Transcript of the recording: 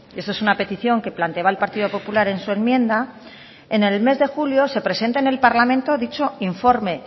esto es una petición que planteaba el partido popular en su enmienda en el mes de julio se presenta en el parlamento dicho informe